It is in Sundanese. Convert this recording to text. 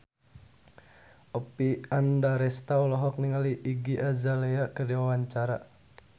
Oppie Andaresta olohok ningali Iggy Azalea keur diwawancara